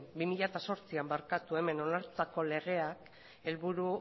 bi mila zortzian hemen onartutako legea helburu